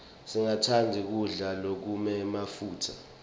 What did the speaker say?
singatsandzi kudla lokunemafutsa